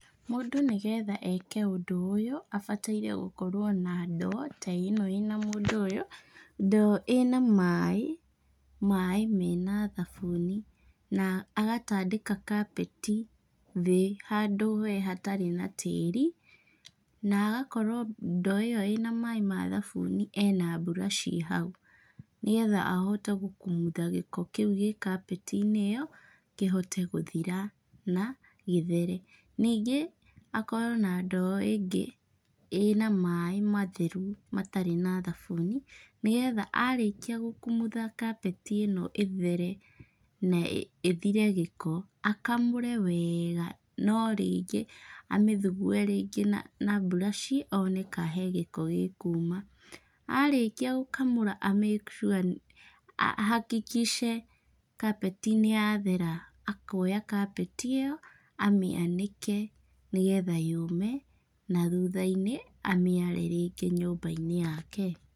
Mũndũ nĩ getha eke ũndũ ũyũ, abataire o gũkorwo na ndoo ta ĩno ĩna mũndũ ũyũ. Ndoo ĩna maĩ, maĩ mena thabuni na agatandĩka kapeti thĩ handũ we hatarĩ na tĩri, na agakorwo ndoo ĩyo ĩna maĩ ma thabuni ena mburaciĩ hau. Nĩgetha ahote gũkumutha gĩko kĩu gĩ kapeti-inĩ ĩyo, kĩhote gũthira na gĩthere. Ningĩ, akorwo na ndoo ĩngĩ ĩna maĩ matheru matarĩ na thabuni, nĩgetha arĩkia gũkumutha kapeti ĩno ĩthere, na ĩthire gĩko, akamũre wega no rĩngĩ amĩthugue rĩngĩ na na mburaciĩ, one kaa he gĩko gĩ kuuma. Arĩkia gũkamũra a make sure ahakikice kapeti nĩ yathera akoya kapeti ĩyo, amĩanĩke nĩgetha yũme na thutha-inĩ amĩare rĩngĩ nyũmba-inĩ yake.